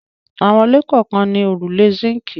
Àwọn ilé kọ̀ọ̀kan ní òrùlé síńkì.